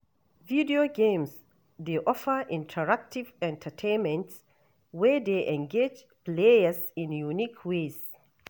Video games dey offer interactive entertainment wey dey engage players in unique ways.